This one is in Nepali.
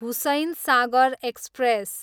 हुसैनसागर एक्सप्रेस